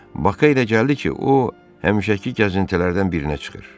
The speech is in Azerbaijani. Baka elə gəldi ki, o həmişəki gəzintilərdən birinə çıxır.